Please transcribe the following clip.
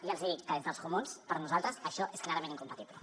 i els hi dic que des dels comuns per nosaltres això és clarament incompatible